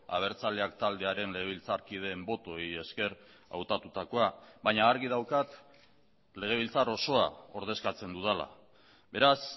abertzaleak taldearen legebiltzarkideen botoei esker hautatutakoa baina argi daukat legebiltzar osoa ordezkatzen dudala beraz